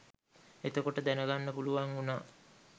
එතකොට දැනගන්න පුළුවන් වුණා